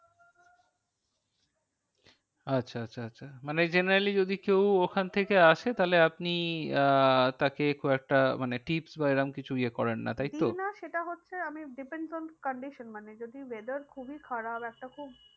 আচ্ছা আচ্ছা আচ্ছা মানে generally যদি কেউ ওখান থেকে আসে তাহলে আপনি আহ তাকে কয়েকটা মানে tips বা এরম কিছু ইয়ে করেন না তাই তো? দিই না সেটা হচ্ছে আমি depends on condition মানে যদি weather খুবই খারাপ একটা খুব